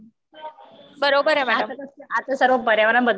हो मॅडम. बरोबर आहे मॅम.